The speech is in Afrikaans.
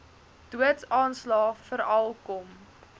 doodsaanslae veral kom